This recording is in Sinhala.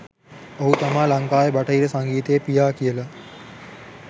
ඔහු තමා ලංකාවේ බටහිර සංගීතයේ පියා කියලා